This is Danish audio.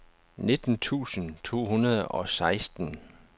nitten tusind to hundrede og seksten